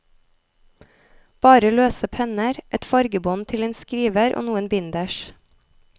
Bare løse penner, et fargebånd til en skriver og noen binders.